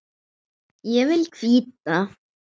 Ég vil hvíta.